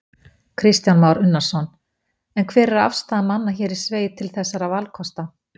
Kristján Már Unnarsson: En hver er afstaða manna hér í sveit til þessara valkosta?